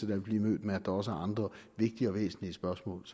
vil blive mødt med at der også er andre vigtige og væsentlige spørgsmål